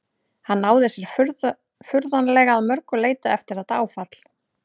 Hann náði sér furðanlega að mörgu leyti eftir þetta áfall.